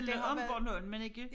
Det om Bornholm men ikke